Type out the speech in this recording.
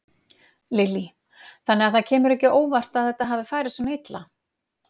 Lillý: Þannig að það kemur ekki á óvart að þetta hafi farið svona illa?